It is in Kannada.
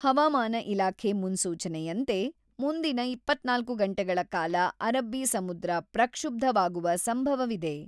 ಹವಾಮಾನ ಇಲಾಖೆ ಮುನ್ಸೂಚನೆಯಂತೆ, ಮುಂದಿನ ಇಪ್ಪತ್ತ್ನಾಲ್ಕು ಗಂಟೆಗಳ ಕಾಲ ಅರಬ್ಬಿ ಸಮುದ್ರ ಪಕ್ಷುಬ್ಧವಾಗುವ ಸಂಭವವಿದೆ.